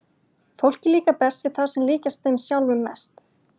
Fólki líkar best við þá sem líkjast þeim sjálfum mest.